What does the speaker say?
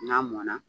N'a mɔnna